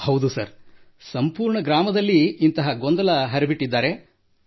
ಹೌದು ಸರ್ ಸಂಪೂರ್ಣ ಗ್ರಾಮದಲ್ಲಿ ಇಂತಹ ಗೊಂದಲ ಹರಡಿಬಿಟ್ಟಿದ್ದಾರೆ ಸರ್